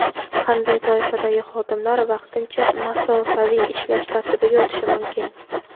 Qanday toifadagi xodimlar vaqtincha masofaviy ishlash tartibiga o‘tishi mumkin?.